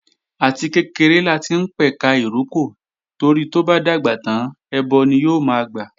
Àti kékeré láti ń pẹ̀ka ìrókò torí tó bá dàgbà tán ẹbọ ni yóò máa gbà